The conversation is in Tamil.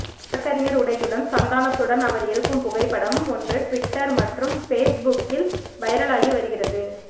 வழக்கறிஞர் உடையுடன் சந்தானத்துடன் அவர் இருக்கும் புகைப்படம் ஒன்று ட்விட்டர் மற்றும் ஃபேஸ்புக்கில்வைரல் ஆகி வருகிறது